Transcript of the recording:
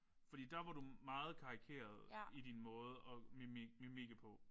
Fordi der var du meget karikeret i din måde at mimikke på